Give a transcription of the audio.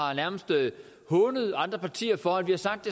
hånet andre partier for at vi har sagt